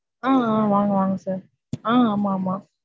ஆஹ் ஆஹ் வாங்க வாங்க sir. ஆஹ் ஆமாமா.